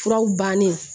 Furaw bannen